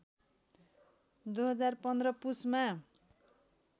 २०१५ पुसमा